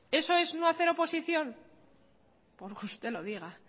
eso es no hacer oposición porque usted lo diga